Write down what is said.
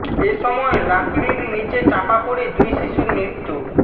এ সময় লাকড়ির নিচে চাপা পড়ে দুই শিশুর মৃত্যু